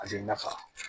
A bɛ nafa